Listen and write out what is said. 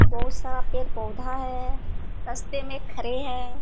बहुत सारा पेड़ पौधा हैं रस्ते में खड़े हैं।